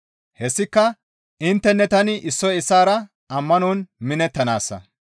Hessika intteninne tani issoy issaara ammanon minettanaassa.